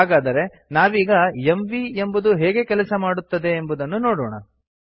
ಹಾಗಾದರೆ ನಾವೀಗ ಎಂವಿ ಎಂಬುದು ಹೇಗೆ ಕೆಲಸ ಮಾಡುತ್ತದೆಯೆಂದು ನೋಡೋಣ